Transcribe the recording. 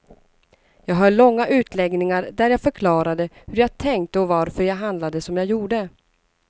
Jag höll långa utläggningar där jag förklarade hur jag tänkte och varför jag handlade som jag gjorde.